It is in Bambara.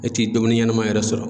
E ti domini ɲɛnama yɛrɛ sɔrɔ.